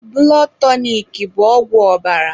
Bụlọd tọnik bụ ọgwụ ọbara